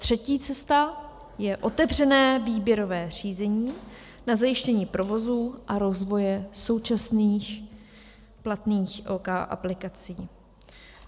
Třetí cesta je otevřené výběrové řízení na zajištění provozu a rozvoje současných platných OK aplikací.